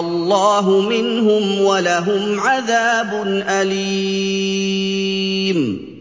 اللَّهُ مِنْهُمْ وَلَهُمْ عَذَابٌ أَلِيمٌ